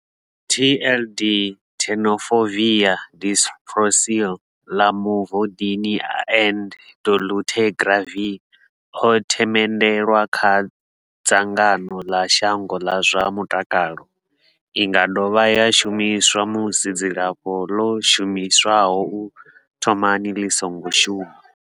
TLD, Tenofovir disoproxil, Lamivudine and dolutegravir, o themendelwa nga dzangano ḽa shango ḽa zwa mutakalo. I nga dovha ya shumiswa musi dzilafho ḽo shumiswaho u thomani ḽi songo shuma.